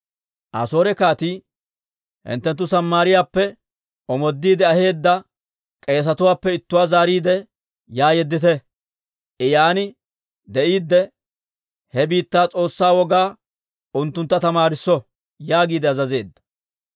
Asoore kaatii, «Hinttenttu Samaariyaappe omoodiide aheedda k'eesetuwaappe ittuwaa zaariide, yaa yeddite. I yaan de'iide, he biittaa s'oossaa wogaa unttuntta tamaarisso» yaagiide azazeedda.